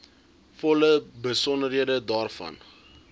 volle besonderhede daarvan